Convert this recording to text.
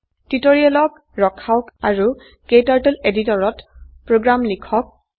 টিউটোৰিয়েলক ৰখাওক আৰু KTurtle editor ত প্ৰোগ্ৰাম লিখক